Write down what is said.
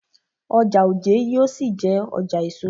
Ọjà Ojé yóò ṣì jé ọjà èso.